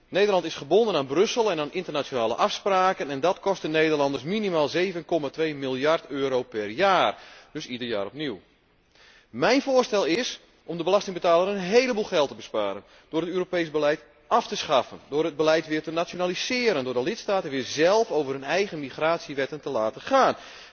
Nederland is gebonden aan Brussel en aan internationale afspraken en dat kost de Nederlanders minimaal 7,2miljard euro per jaar, en dat ieder jaar opnieuw. Mijn voorstel is om de belastingbetaler een héleboel geld te besparen, door het Europees beleid af te schaffen, door het beleid weer te nationaliseren, door de lidstaten weer zelf over hun eigen migratiewetten te laten gaan,